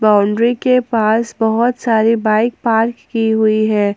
Boundary के पास बहुत सारी बाइक पार्क की हुई है।